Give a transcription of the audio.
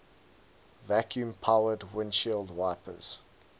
vacuum powered windshield wipers